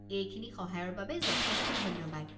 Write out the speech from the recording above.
এইখিনি সহায়ৰ বাবে যথেষ্ট ধন্যবাদ।